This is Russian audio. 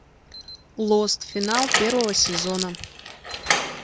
лост финал первого сезона